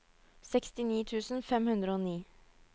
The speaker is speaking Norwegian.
sekstini tusen fem hundre og ni